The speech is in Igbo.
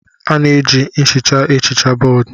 A na-eji nhicha ehicha bọọdụ.